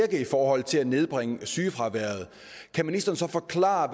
i forhold til at nedbringe sygefraværet kan ministeren så forklare